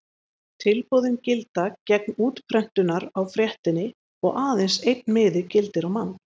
Tilboðin gilda gegn útprentunar á fréttinni og aðeins einn miði gildir á mann.